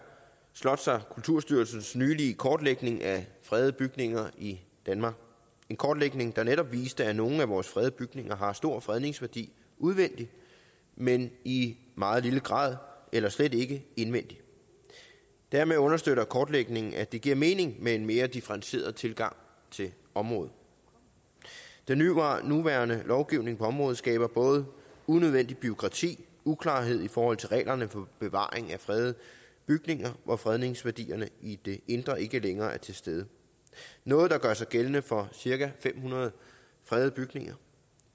slots og kulturstyrelsens nylige kortlægning af fredede bygninger i danmark en kortlægning der netop viste at nogle af vores fredede bygninger har stor fredningsværdi udvendigt men i meget lille grad eller slet ikke indvendigt dermed understøtter kortlægningen at det giver mening med en mere differentieret tilgang til området den nuværende lovgivning på området skaber både unødvendigt bureaukrati uklarhed i forhold til reglerne om bevaring af fredede bygninger hvor fredningsværdierne i det indre ikke længere er til stede noget der gør sig gældende for cirka fem hundrede fredede bygninger